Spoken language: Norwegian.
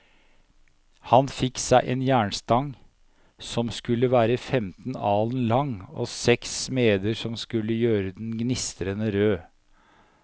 Han fikk seg en jernstang som skulle være femten alen lang, og seks smeder som skulle gjøre den gnistrende rød.